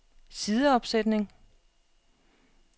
sideopsætning